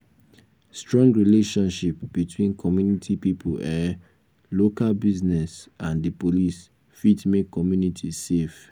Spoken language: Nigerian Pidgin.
strong relationship between community pipo um local business and di police fit make community safe